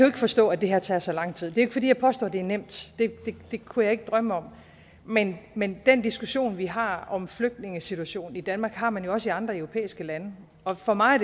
ikke forstå at det her tager så lang tid det er fordi jeg påstår at det er nemt det kunne jeg ikke drømme om men men den diskussion vi har om flygtningesituationen i danmark har man jo også i andre europæiske lande og for mig